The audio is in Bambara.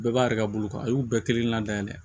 Bɛɛ b'a yɛrɛ ka bolo kan a y'u bɛɛ kelen kelenna dayɛlɛ